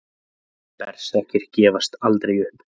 Berserkir gefast aldrei upp!